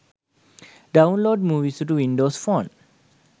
download movies to windows phone